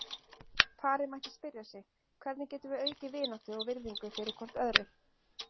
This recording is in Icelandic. Parið mætti spyrja sig: Hvernig getum við aukið vináttu og virðingu hvort fyrir öðru?